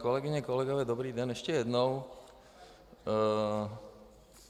Kolegyně, kolegové, dobrý den ještě jednou.